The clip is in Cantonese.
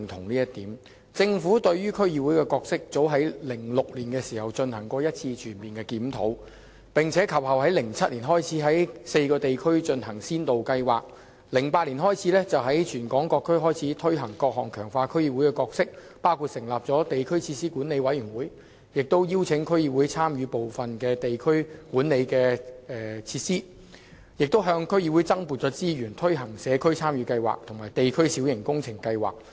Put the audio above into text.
早於2006年，政府對於區議會的角色進行了全面檢討，於2007年在4個地區進行先導計劃，並於2008年開始在全港各區推行各項強化區議會角色的措施，包括成立地區設施管理委員會，亦邀請區議會參與管理部分地區設施，更向區議會增撥資源，推行社區參與計劃和地區小型工程計劃。